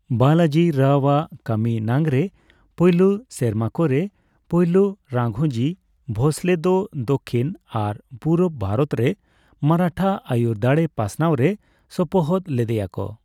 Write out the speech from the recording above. ᱵᱟᱞᱟᱡᱤ ᱨᱟᱣ ᱟᱜ ᱠᱟᱹᱢᱤ ᱱᱟᱝᱨᱮ ᱯᱟᱹᱭᱞᱟᱹ ᱥᱮᱨᱢᱟ ᱠᱚᱨᱮ ᱯᱟᱹᱭᱞᱟᱹ ᱨᱟᱜᱷᱳᱡᱤ ᱵᱷᱳᱸᱥᱞᱮ ᱫᱚ ᱫᱚᱠᱷᱤᱱ ᱟᱨ ᱯᱩᱨᱩᱵ ᱵᱷᱟᱨᱚᱛ ᱨᱮ ᱢᱟᱨᱟᱴᱷᱟ ᱟᱹᱭᱩᱨ ᱫᱟᱲᱮ ᱯᱟᱥᱱᱟᱣ ᱨᱮ ᱥᱚᱯᱚᱦᱚᱫ ᱞᱮᱫᱮᱭᱟ ᱠᱚ᱾